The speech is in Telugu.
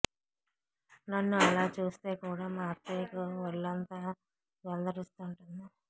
నన్ను అలా చూస్తే కూడా మా అత్తయ్యకు ఒళ్లంతా జలదరిస్తుంటుంది